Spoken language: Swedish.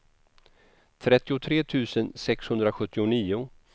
trettiotre tusen sexhundrasjuttionio